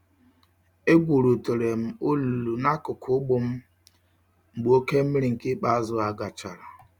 Egwurutere m olulu n'akụkụ ugbo m mgbe oke mmiri nke ikpeazụ gachara.